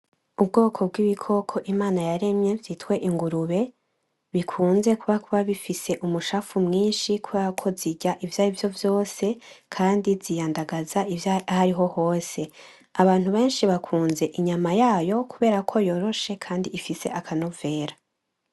Ubwoko bw'ibikoko Imana yaremye vyitwa ingurube, bikunze kuba bifise umucafu mwinshi kubera ko zirya ivyarivyo vyose kandi ziyandagaza ahariho hose, abantu benshi bakunze inyama yayo kubera ko yoroshe kandi ifise akanovera.